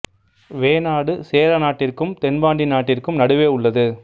வேணாடு சேர நாட்டிற்கும் தென் பாண்டி நாட்டிற்கும் நடுவே உள்ளது